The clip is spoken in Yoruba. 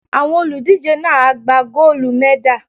Àwọn olùdíje náà á gba góólù mẹ́dà.